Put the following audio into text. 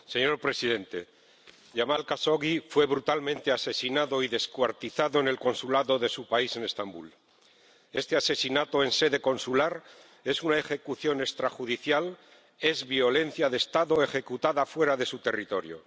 Señor presidente, Yamal Jashogui fue brutalmente asesinado y descuartizado en el Consulado de su país en Estambul. Este asesinato en sede consular es una ejecución extrajudicial, es violencia de Estado ejecutada fuera de su territorio.